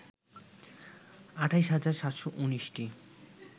২৮ হাজার ৭১৯টি